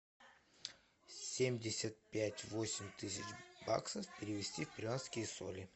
семьдесят пять восемь тысяч баксов перевести в перуанские соли